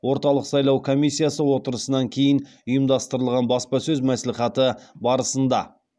орталық сайлау комиссиясы отырысынан кейін ұйымдастырылған баспасөз мәслихаты барысында